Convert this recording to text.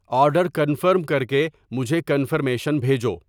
order confirm کرکے مجھے confirmation بھیجو